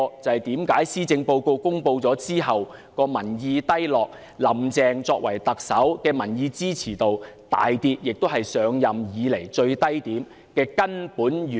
這正是施政報告公布後，政府民意低落，"林鄭"作為特首的民意支持度大跌，跌至她上任以來的最低點的根本原因。